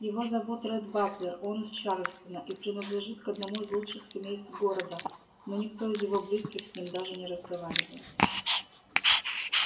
его зовут ретт батлер он из чарльстона и принадлежит к одному из лучших семейств города но никто из его близких с ним даже не разговаривает